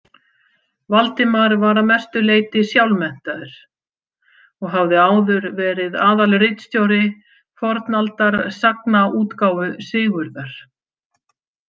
Valdimar var að mestu leyti sjálfmenntaður og hafði áður verið aðalritstjóri fornaldarsagnaútgáfu Sigurðar.